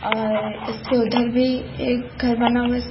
और इसके उधर भी एक घर बना है वैसे--